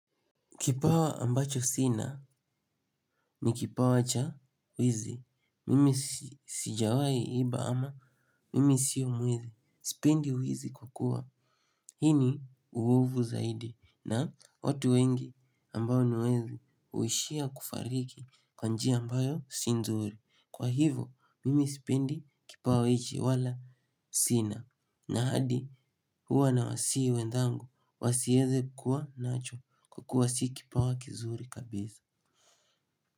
Kipawa ambacho sina ni kipawa cha wizi, mimi sijawai iba ama mimi sio mwizi, sipendi wizi kwa kua. Hii ni uovu zaidi na watu wengi ambao ni wezi huishia kufariki kwa njia ambayo si nzuri. Kwa hivo mimi sipendi kipawa hiki wala sina na hadi huwa na wasihi wenzangu, wasiweze kuwa nacho kwa kua si kipawa kizuri kabisa.